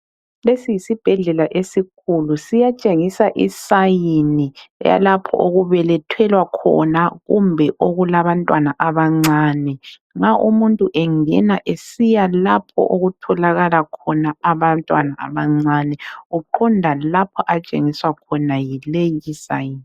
Lesi yisibhedlela esikhulu siyatshengisa isayini yalapho okubelethelwa khona kumbe okulabantwana abancane. Nxa umuntu engena esiya lapho okutholakala khona abantwana abancane uqonda lapho atshengiswa khona yileyi isayini.